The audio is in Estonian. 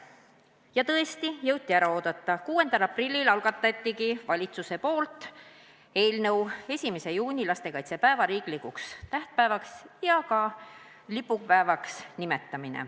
Ja tõesti, jõuti ära oodata: 6. aprillil algataski valitsus eelnõu selle kohta, et 1. juuni, lastekaitsepäev nimetataks riiklikuks tähtpäevaks ja ka lipupäevaks.